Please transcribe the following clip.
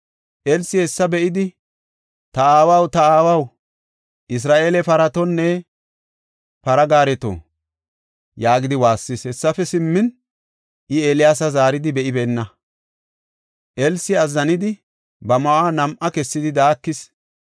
Elsi hessa be7idi, “Ta aawaw, ta aawaw! Isra7eele paratonne para gaareto!” yaagidi waassis. Hessafe simmin, I Eeliyaasa zaaridi be7ibeenna. Elsi azzanidi, ba ma7uwa nam7a kessidi, daakis.